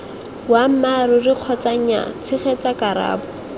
boammaaruri kgotsa nyaa tshegetsa karabo